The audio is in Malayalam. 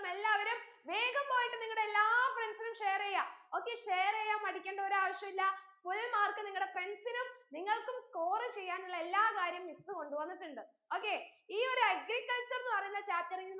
എല്ലാവരും വേഗം പോയിട്ട് നിങ്ങടെ എല്ലാ friends നും share എയ്യ okay share എയ്യാൻ മടിക്കണ്ട ഒരാവിശ്യല്ല full mark നിങ്ങടെ friends നും നിങ്ങൾക്കും score ചെയ്യാനുള്ള എല്ലാ കാര്യം miss കൊണ്ടുവന്നിട്ടുണ്ട് okay ഈ ഒരു agriculture ന്ന് പാറീന്ന chapter ൽ